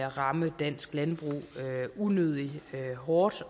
ramme dansk landbrug unødig hårdt